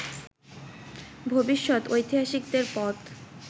ভবিষ্যত ঐতিহাসিকদের পথ